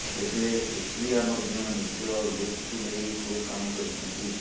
ତେବେ ସୁପ୍ରିୟା ମଧ୍ୟ ନିଜ ଲୁକକୁ ନେଇ ଖୁବ୍ କାମ କରିଛନ୍ତି